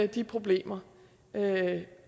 de problemer